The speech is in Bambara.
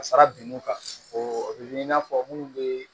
Ka fara binw kan o bɛ i n'a fɔ minnu bɛ